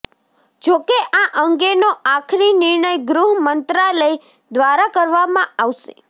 જો કે આ અંગેનો આખરી નિર્ણય ગૃહ મંત્રાલય દ્વારા કરવામાં આવશે